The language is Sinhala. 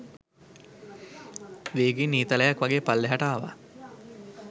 වේගයෙන් ඊතලයක් වගේ පල්ලෙහාට ආවා.